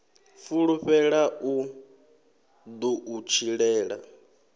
fulufhela u ḓo u tshilela